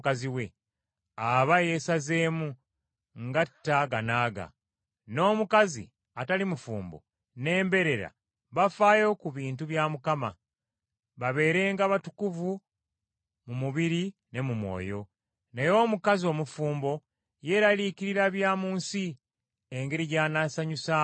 aba yeesazeemu, ng’atta aga n’aga. N’omukazi atali mufumbo n’embeerera bafaayo ku bintu bya Mukama, babeerenga batukuvu mu mubiri ne mu mwoyo. Naye omukazi omufumbo yeeraliikirira bya mu nsi, engeri gy’anaasanyusaamu bba.